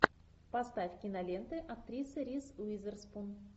поставь киноленты актрисы риз уизерспун